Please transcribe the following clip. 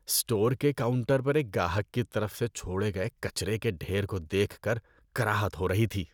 Store کے counter پر ایک گاہک کی طرف سے چھوڑے گئے کچرے کے ڈھیر کو دیکھ کر کراہت ہو رہی تھی۔